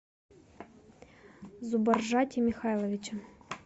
зубаржате михайловиче